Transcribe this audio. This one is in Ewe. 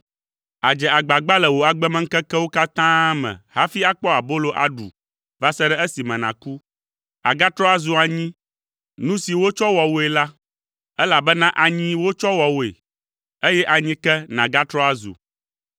Àdze agbagba le wò agbemeŋkekewo katã me hafi akpɔ abolo aɖu va se ɖe esime nàku. Agatrɔ azu anyi, nu si wotsɔ wɔ wòe la; elabena anyi wotsɔ wɔ wòe, eye anyi ke nàgatrɔ azu.”